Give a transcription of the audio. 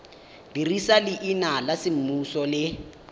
dirisa leina la semmuso le